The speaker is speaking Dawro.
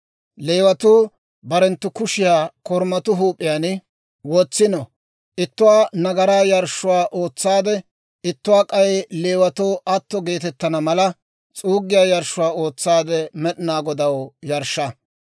«Leewatuu barenttu kushiyaa korumatuu huup'iyaan wotsino; ittuwaa nagaraa yarshshuwaa ootsaade, ittuwaa k'ay Leewatuu atto geetettana mala, s'uuggiyaa yarshshuwaa ootsaade Med'inaa Godaw yarshsha.